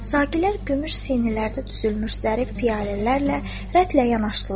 Sakilər gümüş sinilərdə düzülmüş zərif piyalələrlə rətlərinə yanaşdılar.